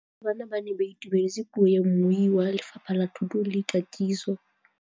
Barutabana ba ne ba itumeletse puô ya mmui wa Lefapha la Thuto le Katiso.